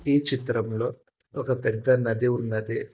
ఈ చిత్రంలో ఒక పెద్ద నది ఉన్నది.